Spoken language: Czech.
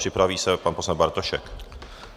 Připraví se pan poslanec Bartošek.